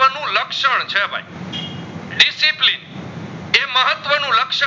મહત્વ નું રક્ષ